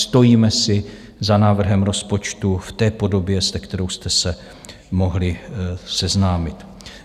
Stojíme si za návrhem rozpočtu v té podobě, se kterou jste se mohli seznámit.